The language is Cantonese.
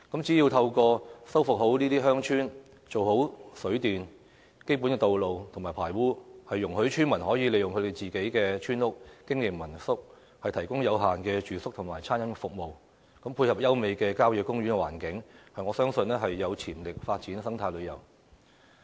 只要修復好這些鄉村，做好水電、基本的道路及排污，容許村民可以利用自己的村屋經營民宿，提供有限的住宿及餐飲服務，配合優美的郊野公園環境，我相信有潛力發展生態旅遊。